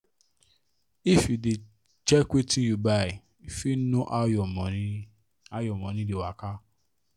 if you dey check wetin you buy you fit know how your money how your money dey waka